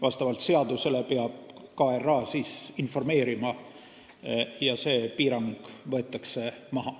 Vastavalt seadusele peab KRA sellest informeerima ja siis võetakse piirang maha.